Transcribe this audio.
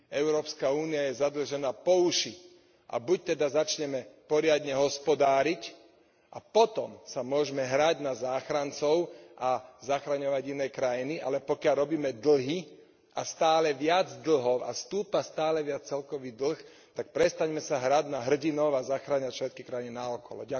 Európska únia je zadlžená po uši a buď teda začneme poriadne hospodáriť a potom sa môžeme hrať na záchrancov a zachraňovať iné krajiny, ale pokiaľ robíme dlhy a stále viac dlhov a stúpa stále viac celkový dlh, tak prestaňme sa hrať na hrdinov a zachraňovať všetky krajiny naokolo.